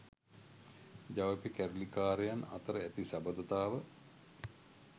ජවිපෙ කැරලිකාරයන් අතර ඇති සබඳතාව